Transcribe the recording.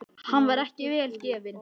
Hann var ekki vel gefinn.